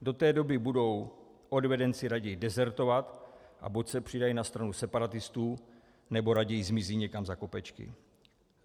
Do té doby budou odvedenci raději dezertovat a buď se přidají na stranu separatistů, nebo raději zmizí někam za kopečky.